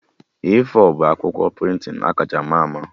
A4 bụ akwụkwọ prịntịn akacha ma ama